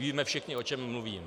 Víme všichni, o čem mluvím.